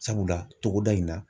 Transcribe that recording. Sabula ,togoda in na